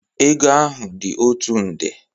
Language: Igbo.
Ego ahụ dị otu nde.